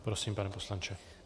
Prosím, pane poslanče.